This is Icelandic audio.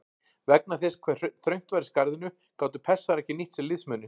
Vegna þess hve þröngt var í skarðinu gátu Persar ekki nýtt sér liðsmuninn.